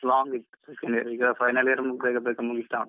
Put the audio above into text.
Long ಇತ್ತು second year ಈಗ final year ಬೇಗ ಬೇಗ ಮುಗಿತಾ ಉಂಟು.